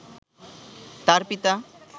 তাঁর পিতা